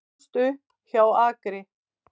Ólst upp hjá Akri